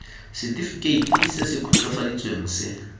setefikeiti se se khutswafaditsweng se